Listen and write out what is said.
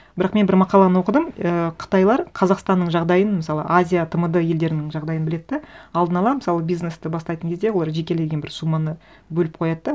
бірақ мен бір мақаланы оқыдым ііі қытайлар қазақстанның жағдайын мысалы азия тмд елдерінің жағдайын біледі де алдын ала мысалы бизнесті бастайтын кезде олар жекелеген бір сумманы бөліп қояды да